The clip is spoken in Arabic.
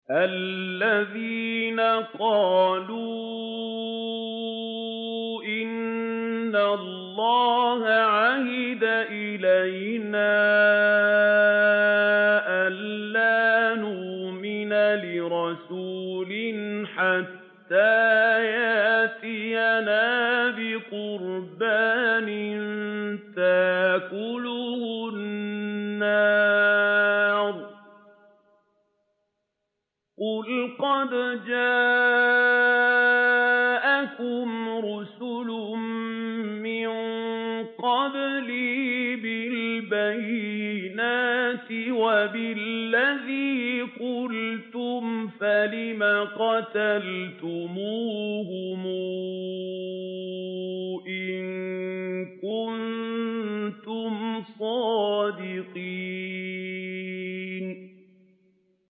الَّذِينَ قَالُوا إِنَّ اللَّهَ عَهِدَ إِلَيْنَا أَلَّا نُؤْمِنَ لِرَسُولٍ حَتَّىٰ يَأْتِيَنَا بِقُرْبَانٍ تَأْكُلُهُ النَّارُ ۗ قُلْ قَدْ جَاءَكُمْ رُسُلٌ مِّن قَبْلِي بِالْبَيِّنَاتِ وَبِالَّذِي قُلْتُمْ فَلِمَ قَتَلْتُمُوهُمْ إِن كُنتُمْ صَادِقِينَ